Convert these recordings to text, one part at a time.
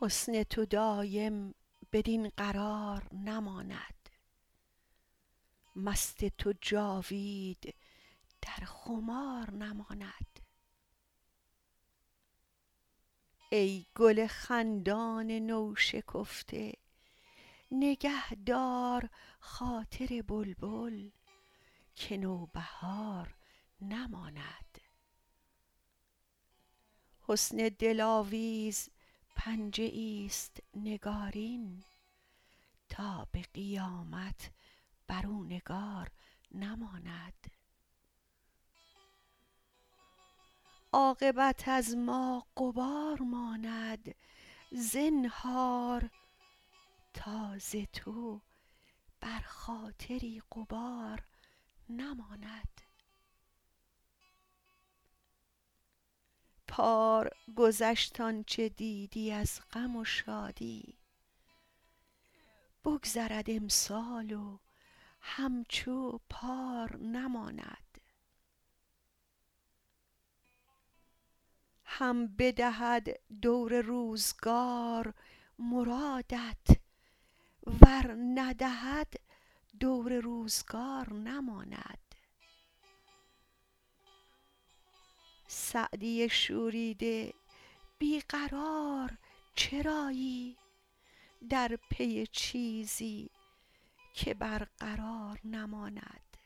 حسن تو دایم بدین قرار نماند مست تو جاوید در خمار نماند ای گل خندان نوشکفته نگه دار خاطر بلبل که نوبهار نماند حسن دلاویز پنجه ایست نگارین تا به قیامت بر او نگار نماند عاقبت از ما غبار ماند زنهار تا ز تو بر خاطری غبار نماند پار گذشت آن چه دیدی از غم و شادی بگذرد امسال و همچو پار نماند هم بدهد دور روزگار مرادت ور ندهد دور روزگار نماند سعدی شوریده بی قرار چرایی در پی چیزی که برقرار نماند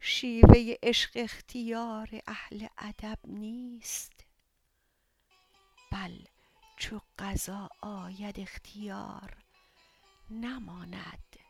شیوه عشق اختیار اهل ادب نیست بل چو قضا آید اختیار نماند